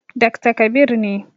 Dakta Kabir ne.